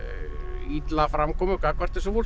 illa framkomu gagnvart þessu fólki